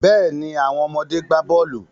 Bẹ́ẹ̀ni, àwọn ọmọdé gbà bọ́ọ̀lù.